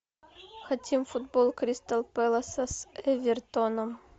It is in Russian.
хотим футбол кристал пэласа с эвертоном